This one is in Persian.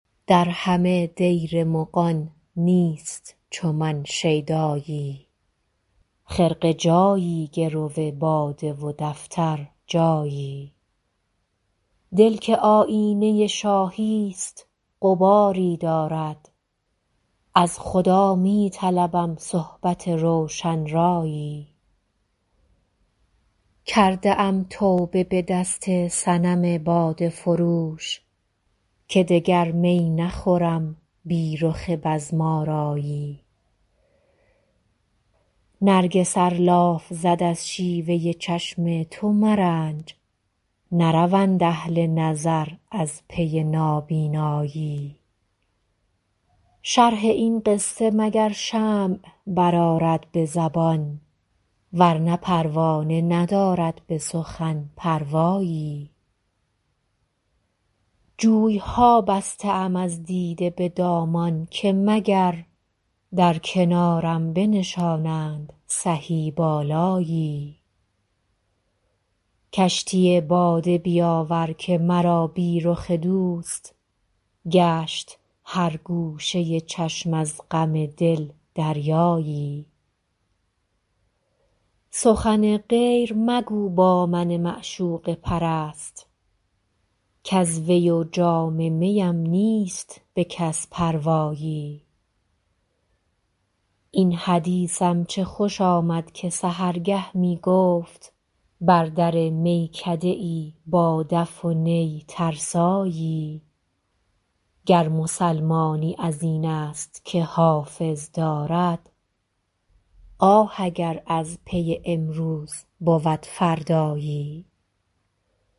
در همه دیر مغان نیست چو من شیدایی خرقه جایی گرو باده و دفتر جایی دل که آیینه شاهی ست غباری دارد از خدا می طلبم صحبت روشن رایی کرده ام توبه به دست صنم باده فروش که دگر می نخورم بی رخ بزم آرایی نرگس ار لاف زد از شیوه چشم تو مرنج نروند اهل نظر از پی نابینایی شرح این قصه مگر شمع برآرد به زبان ورنه پروانه ندارد به سخن پروایی جوی ها بسته ام از دیده به دامان که مگر در کنارم بنشانند سهی بالایی کشتی باده بیاور که مرا بی رخ دوست گشت هر گوشه چشم از غم دل دریایی سخن غیر مگو با من معشوقه پرست کز وی و جام می ام نیست به کس پروایی این حدیثم چه خوش آمد که سحرگه می گفت بر در میکده ای با دف و نی ترسایی گر مسلمانی از این است که حافظ دارد آه اگر از پی امروز بود فردایی